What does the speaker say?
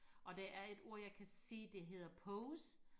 og der et ord jeg kan se der hedder pose